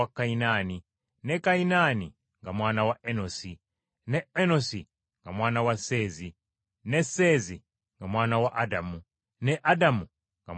ne Kayinaani nga mwana wa Enosi, ne Enosi nga mwana wa Seezi, ne Seezi nga mwana wa Adamu, ne Adamu nga mwana wa Katonda.